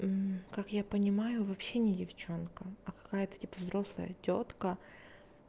как я понимаю вообще не девчонка какая-то типа взрослая тётка